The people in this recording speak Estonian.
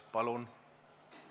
Palun!